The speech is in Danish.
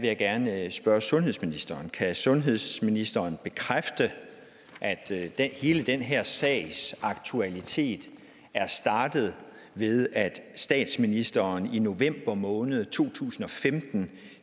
jeg gerne spørge sundhedsministeren kan sundhedsministeren bekræfte at hele den her sags aktualitet er startet ved at statsministeren i november måned to tusind og femten